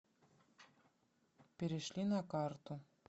перешли на карту